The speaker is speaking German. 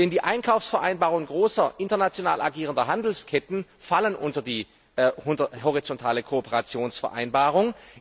Denn die Einkaufsvereinbarungen großer, international agierender Handelsketten fallen unter die horizontale Kooperationsvereinbarung.